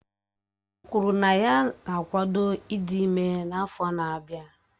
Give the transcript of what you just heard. O kwuru na ya na-akwado ịdị ime n'afọ n'abia.